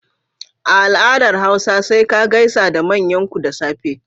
A al'adar hausa sai ka gaisa da manyanku da safe.